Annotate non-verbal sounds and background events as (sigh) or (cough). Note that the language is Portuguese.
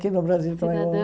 Aqui no Brasil (unintelligible)